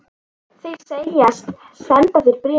Þeir segjast senda þér bréfin.